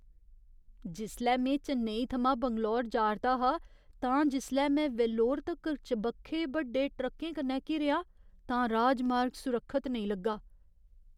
जिसलै में चेन्नई थमां बैंगलोर जा'रदा हा तां जिसलै में वेल्लोर तक्कर चबक्खै बड्डे ट्रक्कें कन्नै घिरेआ तां राजमार्ग सुरक्षत नेईं लग्गा।